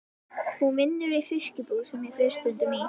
Hún vinnur í fiskbúð sem ég fer stundum í.